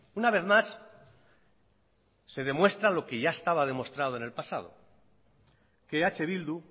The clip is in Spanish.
una vez más se demuestra lo que ya estaba demostrado en el pasado que eh bildu